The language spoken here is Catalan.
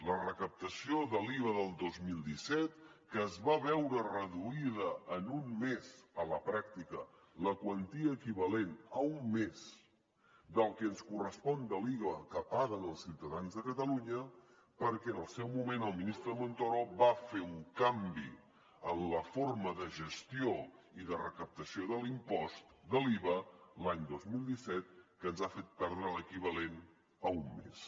la recaptació de l’iva del dos mil disset que es va veure reduïda en un mes a la pràctica la quantia equivalent a un mes del que ens correspon de l’iva que paguen els ciutadans de catalunya perquè en el seu moment el ministre montoro va fer un canvi en la forma de gestió i de recaptació de l’impost de l’iva l’any dos mil disset que ens ha fet perdre l’equivalent a un mes